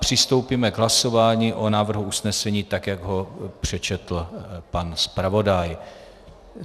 Přistoupíme k hlasování o návrhu usnesení, tak jak ho přečetl pan zpravodaj.